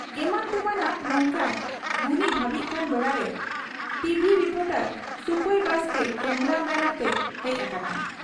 ᱮᱢᱟᱱ ᱛᱮᱢᱟᱱᱟᱜ ᱱᱚᱝᱠᱟᱭ ᱜᱩᱱᱤ ᱵᱷᱟᱹᱵᱤᱜ ᱠᱟᱱ ᱵᱮᱲᱟᱨᱮ ᱴᱚᱵᱷᱤ ᱨᱤᱯᱚᱴᱚᱨ ᱥᱩᱯᱟᱹᱭ ᱵᱟᱥᱠᱮ ᱠᱮᱢᱨᱟ ᱢᱮᱱ ᱟᱱᱛᱮ ᱦᱮᱡ ᱟᱠᱟᱱᱟᱭ ᱾